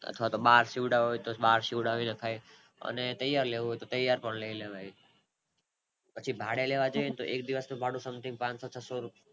અથવા તો બાર સીવડાવા હોય તો બાર સીવરવી નખાય અને તૈયાર લેવું હોય તો તૈયાર પણ લય લેવાય પછી ભાડે લેવા જઇયે એટલે એક દિવસ નું ભાડું Something પાનસો છસો રૂ